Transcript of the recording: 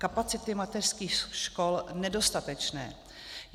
Kapacity mateřských škol nedostatečné.